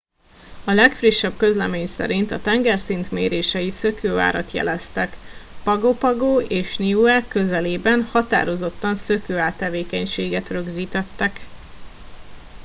a legfrissebb közlemény szerint a tengerszint mérései szökőárat jeleztek pago pago és niue közelében határozottan szökőár tevékenységet rögzítettek